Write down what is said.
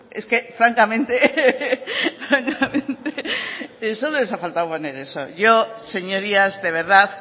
es que francamente solo les ha faltado poner eso yo señorías de verdad